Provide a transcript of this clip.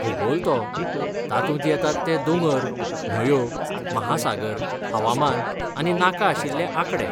भूगोल तो! तातूंत येतात ते दोंगर, न्हंयो, महासागर, हवामान, आनी नाका आशिल्ले आंकडे.